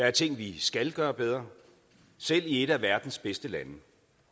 er ting vi skal gøre bedre selv i et af verdens bedste lande